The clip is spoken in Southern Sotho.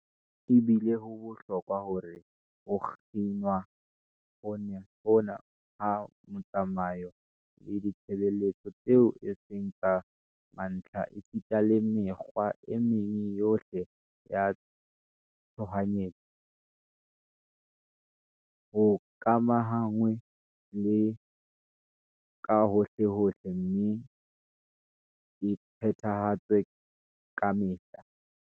Ebile ho bohlokwa hore ho kginwa hona ha metsamao le ditshebeletso tseo e seng tsa mantlha esita le mekgwa e meng yohle ya tshohanyetso, ho ikamahanngwe le yona kahohlehohle mme e phethahatswe kamehla.